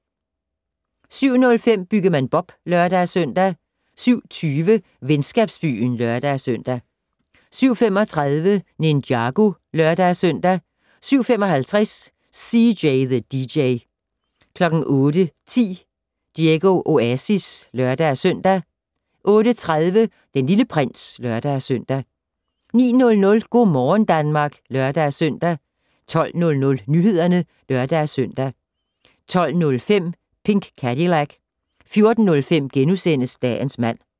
07:05: Byggemand Bob (lør-søn) 07:20: Venskabsbyen (lør-søn) 07:35: Ninjago (lør-søn) 07:55: CJ the DJ 08:10: Diego Oasis (lør-søn) 08:30: Den Lille Prins (lør-søn) 09:00: Go' morgen Danmark (lør-søn) 12:00: Nyhederne (lør-søn) 12:05: Pink Cadillac 14:05: Dagens mand *